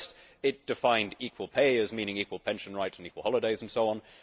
First, it defined equal pay' as meaning equal pension rights and equal holidays and so on.